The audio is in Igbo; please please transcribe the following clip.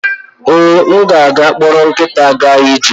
Ee, m ga-akpọrọ nkịta gaa ije.